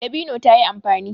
Dabino ta yi amfani.